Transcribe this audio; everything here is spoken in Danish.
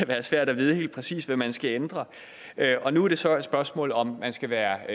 være svært at vide helt præcis hvad man skal ændre og nu er det så et spørgsmål om om man skal være